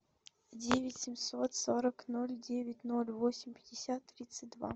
девять семьсот сорок ноль девять ноль восемь пятьдесят тридцать два